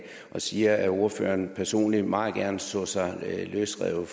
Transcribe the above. siger at ordføreren personligt meget gerne så sig løsrevet